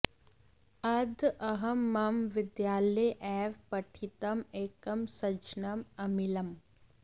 अद्य अहं मम विद्यालये एव पठितम् एकं सज्जनम् अमिलम्